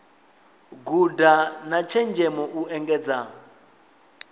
guda na tshenzhemo u engedza